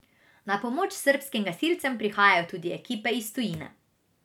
Na pomoč srbskim gasilcem prihajajo tudi ekipe iz tujine.